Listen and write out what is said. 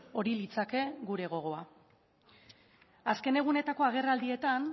hori litzake gure gogoa azken egunetako agerraldietan